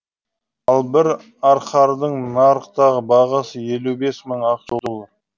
ал бір арқардың нарықтағы бағасы елу бес мың ақш доллары